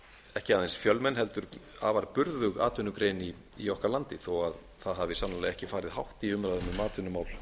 ekki aðeins fjölmenn heldur afar burðug atvinnugrein í okkar landi þó það hafi sannarlega ekki farið hátt í umræða um atvinnumál